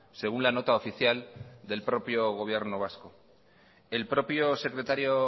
según la nota oficial del propio gobierno vasco el propio secretario